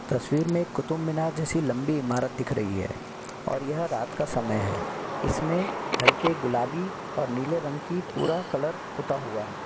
तसवीर में एक कुतुबमीनार जैसी लंबी इमारत दिख रही है और यह रात का समय है इसमें हल्के गुलाबी और नीले रंग की पूरा कलर पोता हुआ है।